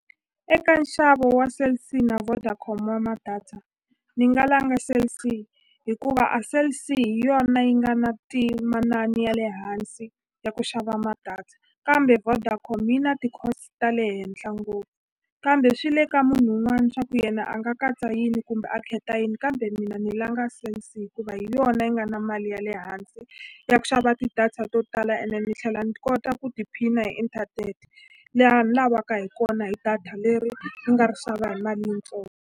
Eka nxavo wa Cell C na Vodacom wa ma-data ni nga langa Cell C hikuva a Cell C hi yona yi nga na ya le hansi ya ku xava ma-data kambe Vodacom yi na cost ta le henhla ngopfu kambe swi le ka munhu un'wani swa ku yena a nga katsa yini kumbe a khetha yini kambe mina ni langa Cell C hikuva hi yona yi nga na mali ya le hansi ya ku xava ti-data to tala ene ni tlhela ni kota ku tiphina hi inthanete laha ni lavaka hi kona hi data leri ni nga ri xava hi mali .